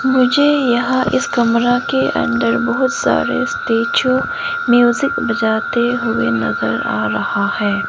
मुझे यहां इस कमरा के अंदर बहुत सारे स्टैचू म्यूजिक बजाते हुए नजर आ रहा है।